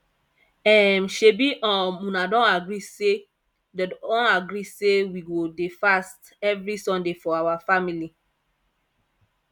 um shebi um una don agree say don agree say we go dey fast every sunday for our family